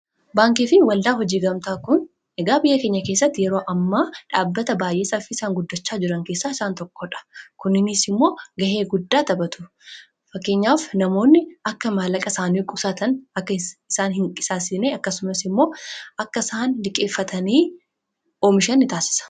Baankiifi waldaa hojii gamtaa kun egaa biyya keenya keessatti yeroo ammaa dhaabbata baay'ee saffisaan guddachaa jiran keessaa isaan tokkodha. Kunis immoo ga'ee guddaa taphatu. Fakkeenyaaf namoonni akka maallaqa isaanii qusatan akka isaan hinqisaasessine akkasumas immoo akka isaan liqeeffatanii oomishan nitaasisa.